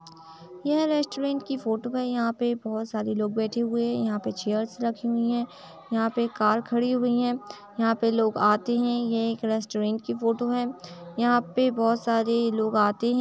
यह रेस्टोरेंट की फोटो है। यहाँ पे बोहोत सारे लोग बैठे हुए हैं। यहाँ पे चेयर्स रखी हुई हैं। यहाँ पे एक कार खड़ी हुई हैं। यहाँ पे लोग आते हैं। ये एक रेस्टोरेंट की फोटो है। यहाँ पे बोहोत सारे लोग आते हैं।